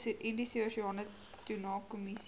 indiese oseaan tunakommissie